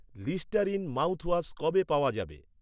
Listerine mouthwash কবে পাওয়া যাবে?